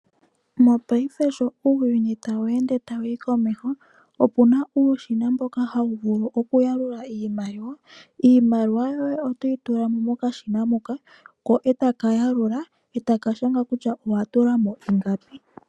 Mopaife sho uuyuni tawu yi komeho opwe ya omukalo gokulongitha uushina wokuyalula iimaliwa. Iimaliwa ohayi tulwa mokashina, ko eta ka yalula nokushanga kutya owa tula mo ingapi.